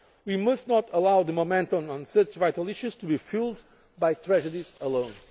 and Europol. We must not allow the momentum on such vital issues to be fuelled by